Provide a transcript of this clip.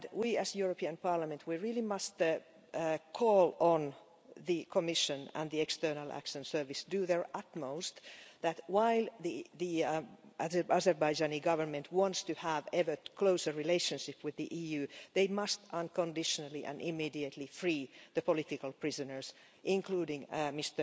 As the European Parliament, we really must call on the Commission and the External Action Service to do their utmost if the Azerbaijani Government wants to have an ever-closer relationship with the EU, they must, unconditionally and immediately, free the political prisoners, including Mr